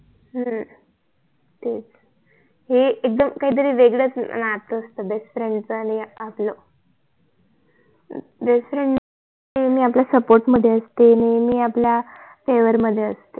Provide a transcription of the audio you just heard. हम तेच हे एकदम काहीतरी वेगळच नात असत BEST FRIEND च आणि आपल BEST FRIEND नेहमी आपल्या SUPPORT मधी असते नेहमी आपल्या FAVOUR मधी असते